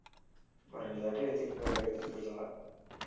ஒரு ரெண்டுதாட்டி எடுத்துட்டு போய் எடுத்துட்டு போயிருக்காங்க.